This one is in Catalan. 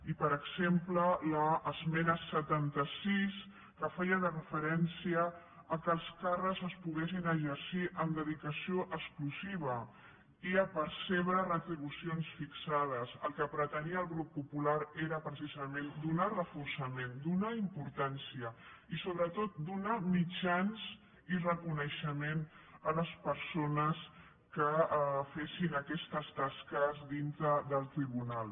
i per exemple amb l’esmena setanta sis que feia referència que els càrrecs es poguessin exercir amb dedicació exclusiva i a percebre retribucions fixades el que pretenia el grup popular era precisament donar reforçament donar importància i sobretot donar mitjans i reconeixement a les persones que fessin aquestes tasques dintre del tribunal